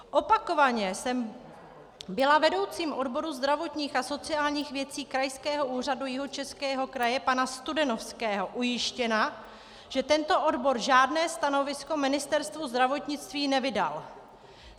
Opakovaně jsem byla vedoucím odboru zdravotních a sociálních věcí Krajského úřadu Jihočeského kraje pana Studenovského ujištěna, že tento odbor žádné stanovisko Ministerstvu zdravotnictví nevydal.